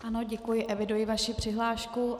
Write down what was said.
Ano, děkuji, eviduji vaši přihlášku.